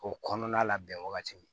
O kɔnɔna labɛn wagati